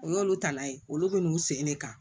O y'olu ta la ye olu bɛ n'u sen de kan